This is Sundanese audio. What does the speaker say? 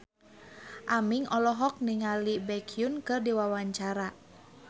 Aming olohok ningali Baekhyun keur diwawancara